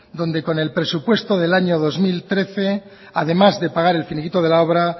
donde con el presupuesto del año dos mil trece además de pagar el finiquito de la obra